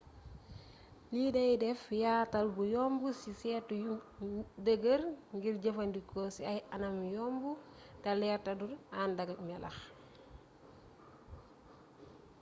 lii day deff yaatal bu yomb ci seetu yu dëgër ngir jëfandikoo ci ay anam yomb te leer teddu andakk melax